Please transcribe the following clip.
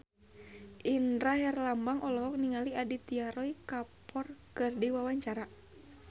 Indra Herlambang olohok ningali Aditya Roy Kapoor keur diwawancara